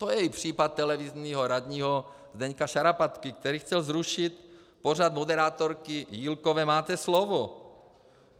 To je i případ televizního radního Zdeňka Šarapatky, který chtěl zrušit pořad moderátorky Jílkové Máte slovo.